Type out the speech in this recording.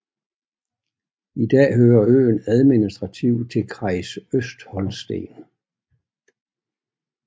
I dag hører øen administrativt til Kreis Østholsten